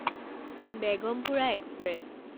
Begampura express